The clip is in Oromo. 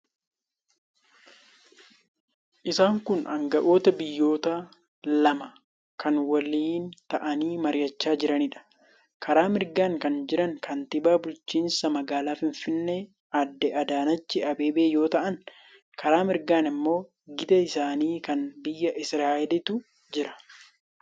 Isaan kun aanga'oota biyyoota lamaa kan waliin taa'anii mari'achaa jiraniidha. Karaa mirgaan kan jiran kantiibaa bulchiinsa magaalaa Finfinnee Aadde Adaanechi Abeebee yoo ta'an, karaa mirgaan immoo gita isaanii kan biyya Isiraa'eliitu jira.